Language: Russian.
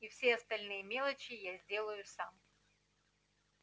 и все остальные мелочи я сделаю сам